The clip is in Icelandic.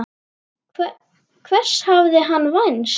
Hvers hafði hann vænst?